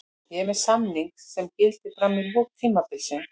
Ég er með samning sem gildir fram í lok tímabilsins.